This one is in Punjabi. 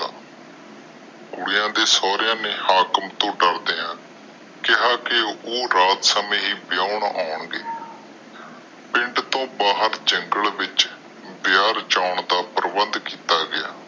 ਕੁੜੀਆਂ ਦੇ ਸੋਹਰਿਆ ਨੇ ਹਾਕਮ ਤੋਂ ਡਰਦਿਆਂ ਕਿਹਾ ਕੇ, ਉਹ ਰਾਤ ਸਮੇ ਹੀ ਵਿਆਹੁਣ ਆਉਣਗੇ। ਪਿੰਡ ਤਰੋ ਭਰ ਜੰਗਲੇ ਦੇ ਵਿਚ ਵਿਆਹ ਰਚੋੰਨ ਦਾ ਪ੍ਰਬੰਧ ਕੀਤਾ ਗਿਆ।